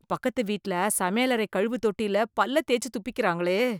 பக்கத்து வீட்ல சமையலறை கழுவு தொட்டிலேயே பல்ல தேச்சு துப்பிக்கிறாங்களே!